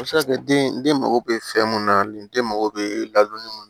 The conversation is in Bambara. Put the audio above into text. A bɛ se ka kɛ den den mago bɛ fɛn mun na liden mago bɛ ladonni mun